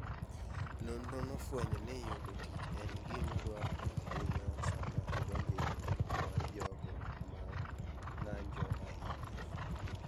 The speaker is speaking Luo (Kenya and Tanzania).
Nonrono nofwenyo ni yudo tich en "gima dwarore ahinya sama idonjo e grup mar jogo ma ng'anjo ahinya".